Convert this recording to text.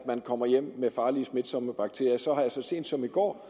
kommer hjem med farlige smitsomme bakterier så sent som i går